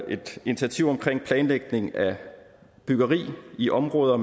et initiativ om planlægning af byggeri i områder